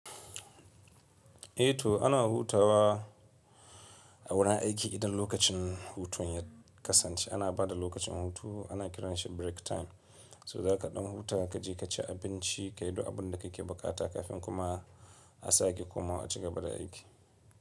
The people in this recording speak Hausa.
Eh to ana hutawa a wurin aiki idan lokacin hutu ya kasance. Ana bada lokacin hutu ana kiransa break time. So za ka ɗan huta ka je ka ci abinci, ka yi duk abun da ka ke buƙata kafin kuma a sake kuma a cigaba da aiki.